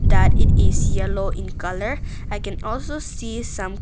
That it is yellow in colour and i can also see some.